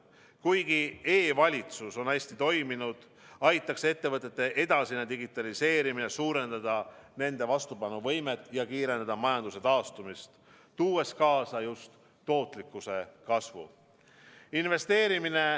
Kuigi e-valitsus on hästi toiminud, aitaks ettevõtete edasine digitaliseerimine suurendada nende vastupanuvõimet ja kiirendada majanduse taastumist, tuues kaasa just tootlikkuse kasvu.